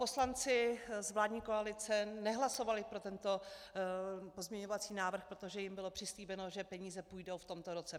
Poslanci z vládní koalice nehlasovali pro tento pozměňovací návrh, protože jim bylo přislíbeno, že peníze půjdou v tomto roce.